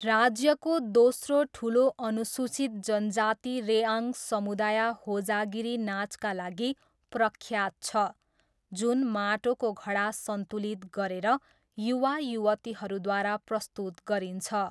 राज्यको दोस्रो ठुलो अनुसूचित जनजाति रेआङ समुदाय होजागिरी नाचका लागि प्रख्यात छ जुन माटोको घडा सन्तुलित गरेर युवा युवतीहरूद्वारा प्रस्तुत गरिन्छ।